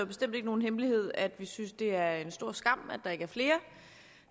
bestemt ikke nogen hemmelighed at vi synes at det er en stor skam at der ikke er flere